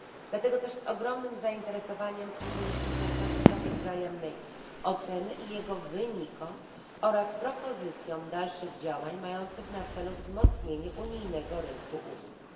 Dlatego też z ogromnym zainteresowaniem przyjrzeliśmy się procesowi wzajemnej oceny i jego wynikom oraz propozycjom dalszych działań mających na celu wzmocnienie unijnego rynku usług.